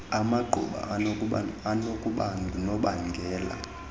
amaqhuba anokuba ngunobangela